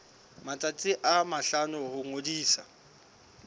matsatsi a mahlano ho ngodisa